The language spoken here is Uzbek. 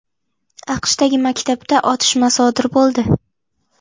AQShdagi maktabda otishma sodir bo‘ldi.